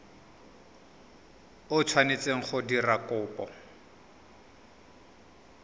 o tshwanetseng go dira kopo